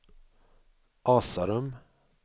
Asarum